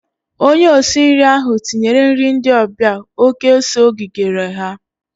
Onye osi nri ahụ tinyere nri ndị ọbịa oké ose o kigere ha.